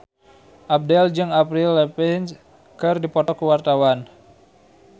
Abdel jeung Avril Lavigne keur dipoto ku wartawan